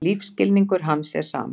Lífsskilningur hans er samur.